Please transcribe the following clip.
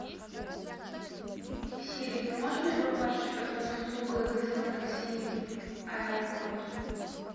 сири ты можешь мне помочь с услугой вызова такси в аэропорт